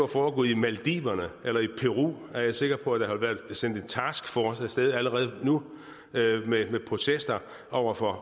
foregået i maldiverne eller i peru er jeg sikker på at have været sendt en taskforce af sted allerede nu med protester over for